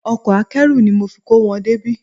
Ọkọ akẹ́rù ni mo fi kó wọn débí